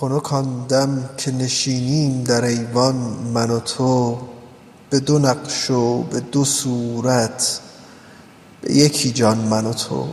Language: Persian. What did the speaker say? خنک آن دم که نشینیم در ایوان من و تو به دو نقش و به دو صورت به یکی جان من و تو